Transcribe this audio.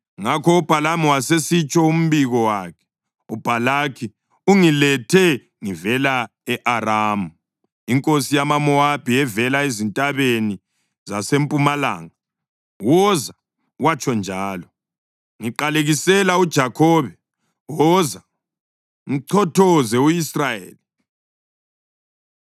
Ngakho uBhalamu wasesitsho umbiko wakhe: “UBhalaki ungilethe ngivela e-Aramu, inkosi yamaMowabi evela ezintabeni zasempumalanga. ‘Woza,’ watsho njalo, ‘ngiqalekisela uJakhobe; woza, mchothoze u-Israyeli.’